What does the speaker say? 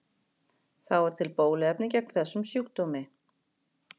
Þá er til bóluefni gegn þessum sjúkdómi.